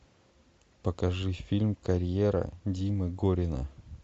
покажи фильм карьера димы горина